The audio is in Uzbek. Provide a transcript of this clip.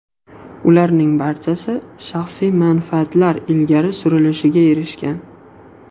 Ularning barchasi shaxsiy manfaatlar ilgari surilishiga erishgan.